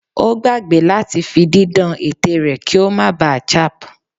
O gbagbe lati fi didan ètè rẹ ki o má ba chap